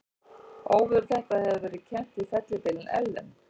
Óveður þetta hefur verið kennt við fellibylinn Ellen.